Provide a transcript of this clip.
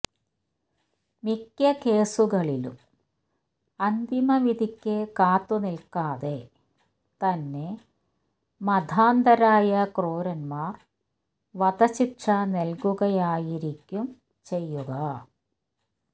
മിക്ക കേസുകളിലും അന്തിമ വിധിക്ക് കാത്തുനിൽക്കാതെ തന്നെ മതാന്ധരായ ക്രൂരന്മാർ വധശിക്ഷ നൽകുകയായിരിക്കും ചെയ്യുക